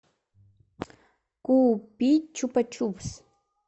купить чупа чупс